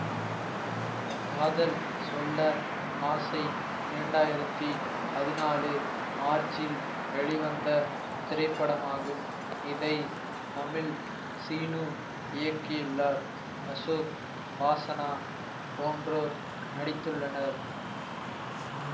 காதல் சொல்ல ஆசை இரண்டாயிரத்தி பதினாலு மார்ச்சில் வெளிவந்த திரைப்படமாகும் இதை தமிழ் சீனு இயக்கியுள்ளார் அசோக் வாசனா போன்றோர் நடித்துள்ளனர்